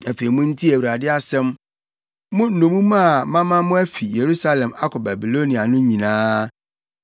Afei muntie Awurade asɛm, mo nnommum a mama mo afi Yerusalem akɔ Babilonia no nyinaa.